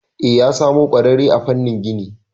E, ya samo kwarare a famnin gini